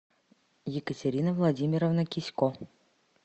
екатерина владимировна кисько